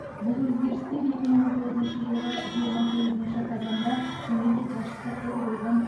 бұл өзгерістер екі мың он тоғызыншы жылғы жиырма сегізінші қазанда мемлекет басшысы қол қойған